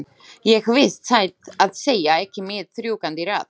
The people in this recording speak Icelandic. Ég vissi satt að segja ekki mitt rjúkandi ráð.